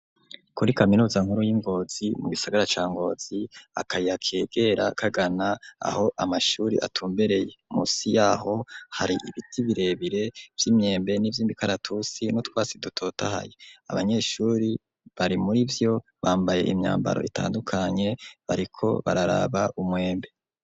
Kuri kaminuza nkuru y'Ingozi mu gisagara ca Ngozi akayira kegera kagana aho amashuri atumbereye musi yaho hari ibiti birebire vy'imyembe ni vy'imikaratusi n'utwasi dutotahaye abanyeshuri bari murivyo bambaye imyambaro itandukanye bariko bararaba umwembe.